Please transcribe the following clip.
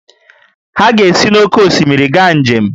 Ha ga-esi n’oké osimiri gaa njem